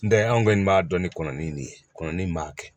N tɛ anw kɔni b'a dɔn ni kɔnɔni nin ye kɔnni m'a kɛ